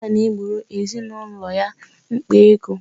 Nna na-egboro ezinaụlọ ya mkpa ego.